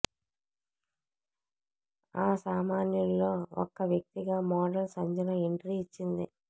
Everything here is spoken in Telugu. ఆ సామాన్యుల్లో ఒక్క వ్యక్తిగా మోడల్ సంజన ఎంట్రీ ఇచ్చింది